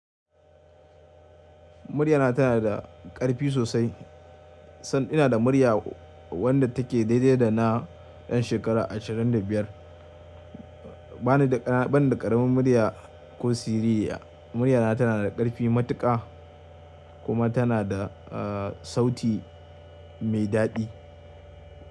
Muryana tana da ƙarfi sosai, sanda ina da murya wadda take daidai da na ɗan shekara 25. Bana da ƙaramin murya ko siririya. Muryana tana da ƙarfi matuƙa kuma tana da, sauti mai daɗi.